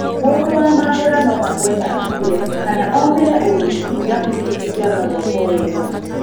Mũndũ wa mambũra no agũe na akue kana omĩre ũru irabu ici cingĩaga gwako wega.